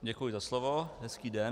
Děkuji za slovo, hezký den.